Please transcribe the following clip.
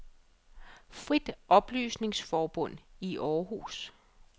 Frit Oplysningsforbund I Århus